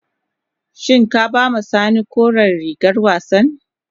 Shin ka ba ma sani koren rigar wassan.